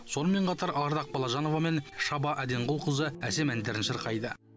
сонымен қатар ардақ балажанова мен шаба әденқұлқызы әсем әндерін шырқайды